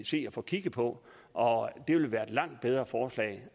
se at få kigget på og det vil være et langt bedre forslag